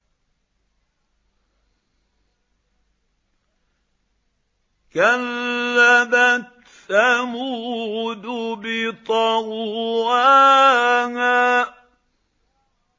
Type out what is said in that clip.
كَذَّبَتْ ثَمُودُ بِطَغْوَاهَا